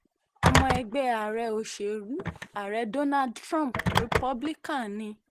ọmọ ẹgbẹ́ òṣèlú ààrẹ donald trump republican ni